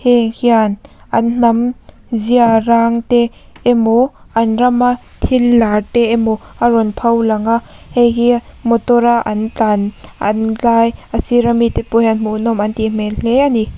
hei hian an hnam zia rang te emaw an rama thil lar te emaw a rawn pho langa hei hi motora an tlan lai a sira mite pawh hian hmuhnawm an tih hmel hle a ni.